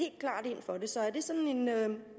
for det så er det sådan en